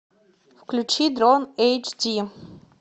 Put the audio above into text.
включи дрон эйч ди